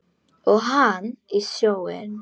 Og hann í sjóinn.